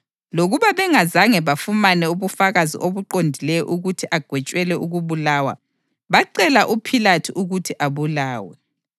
Lokuba bengazange bafumane ubufakazi obuqondileyo ukuthi agwetshelwe ukubulawa, bacela uPhilathu ukuthi abulawe.